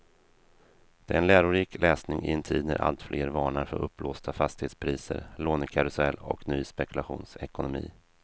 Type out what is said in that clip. Det är en lärorik läsning i en tid när alltfler varnar för uppblåsta fastighetspriser, lånekarusell och ny spekulationsekonomi.